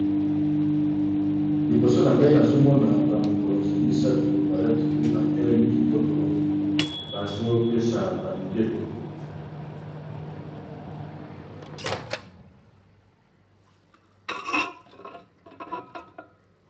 liboso na ngai nazomona bamikonzi misato balati pe batelemi kitoko bazopesa ba mibeko